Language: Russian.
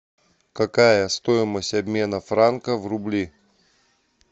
какая стоимость обмена франка в рубли